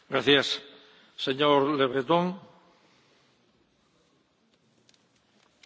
Monsieur le Président, les catastrophes nucléaires sont une des pires menaces qui pèsent sur l'humanité.